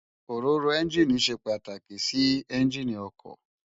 Óróró ènjiní sé pàtákí si ènjiní òkò